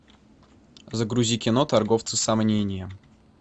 загрузи кино торговцы сомнением